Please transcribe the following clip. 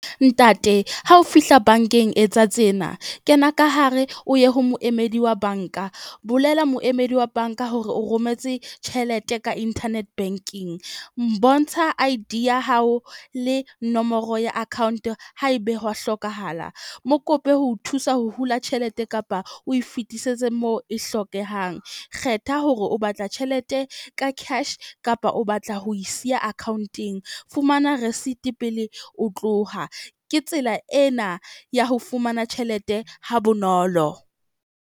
Ntate hao fihla bank-eng, etsa tsena, kena ka hare o ye ho moemedi wa bank-a. Bolela moemedi wa bank-a hore o rometse tjhelete ka internet banking. Bontsha I_D ya hao le nomoro ya account haebe hwa hlokahala. Mokope ho o thusa ho hula tjhelete kapa o e fitisetse moo e hlokehang. Kgetha hore o batla tjhelete ka cash kapa o batla ho e siya account-eng. Fumana receipt-e pele o tloha. Ke tsela ena ya ho fumana tjhelete ha bonolo.